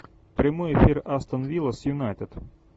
прямой эфир астон вилла с юнайтед